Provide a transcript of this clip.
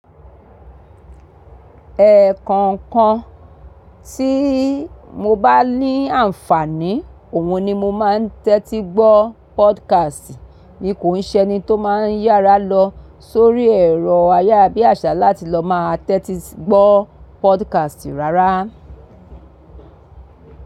Ẹ́ẹ́kọọkan tí mo bá ní àǹfààní, òhun ni mo máa ń tẹ́tí gbó podcast. Ní kò ń ṣe ni tó máa ń yára lọ sórí ẹ̀rọ ayé bí àsálà tí lọ máa tẹ́tí gbó podcast rárá.